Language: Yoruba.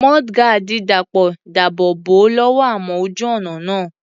Mudguard Dàpọ̀ dáàbò bò ó lọ́wọ́ amọ̀ ojú ọ̀nà náà.